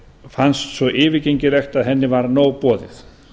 fannst svo yfirgengilegt að henni var nóg boðið